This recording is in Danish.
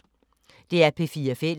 DR P4 Fælles